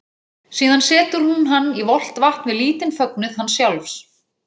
Síðan setur hún hann í volgt vatn við lítinn fögnuð hans sjálfs.